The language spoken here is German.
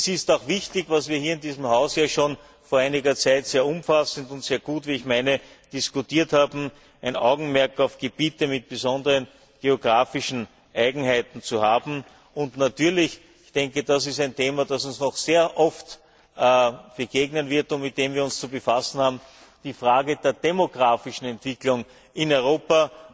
Es ist auch wichtig, was wir hier in diesem Haus vor einiger Zeit ja schon sehr umfassend und sehr gut wie ich meine diskutiert haben, ein Augenmerk auf Gebiete mit besonderen geografischen Eigenheiten zu haben und natürlich das ist ein Thema, das uns noch sehr oft begegnen wird und mit dem wir uns zu befassen haben auf die Frage der demografischen Entwicklung in Europa.